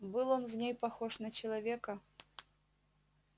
был он в ней похож на человека